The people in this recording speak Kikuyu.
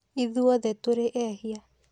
Ithuothe tũrĩ ehia